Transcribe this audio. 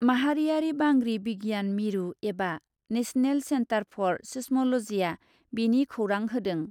माहारियारि बांग्रि बिगियान मिरु एबा नेसनेल सेन्टार फर सिस्म'ल'जीआ बेनि खौरां होदों ।